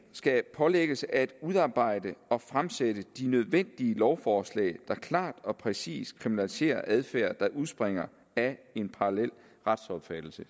skal pålægges at udarbejde og fremsætte de nødvendige lovforslag der klart og præcist kriminaliserer adfærd der udspringer af en parallel retsopfattelse